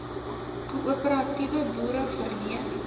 koöperatiewe boere verleen